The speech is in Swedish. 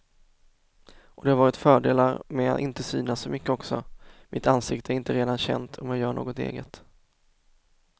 Och det har varit fördelar med att inte synas så mycket också, mitt ansikte är inte redan känt om jag gör något eget.